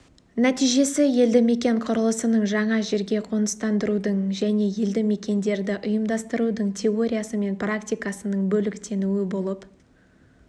нәтижесі елді мекен құрылысының жаңа жерге қоныстандырудың және елді мекендерді ұйымдастырудың теориясы мен практикасының бөліктенуі болып